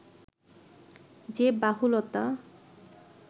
যে বাহুলতা